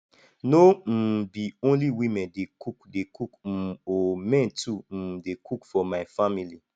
no um be only women dey cook dey cook um o men too um dey cook for my family